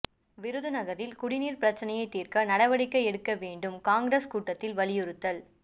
விருதுநகரில் குடிநீா் பிரச்னையை தீா்க்க நடவடிக்கை எடுக்க வேண்டும் காங்கிரஸ் கூட்டத்தில் வலியுறுத்தல்